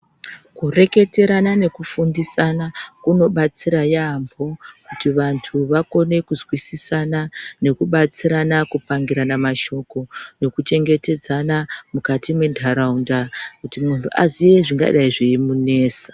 Kureketerana nekufundisana kunobatsira yaambo kuti vantu vakone kuzwisisana nekubatsirana kupangurana mashoko. Nekuchengetedzana mukati menharaunda kuti muntu aziye zvingadai zviimunesa.